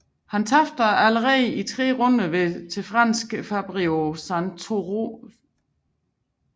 Han tabte dog allerede i tredje runde til franske Fabrice Santoro